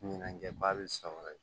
Ɲɛnajɛba bɛ san wɛrɛ